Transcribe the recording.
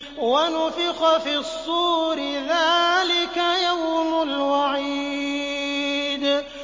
وَنُفِخَ فِي الصُّورِ ۚ ذَٰلِكَ يَوْمُ الْوَعِيدِ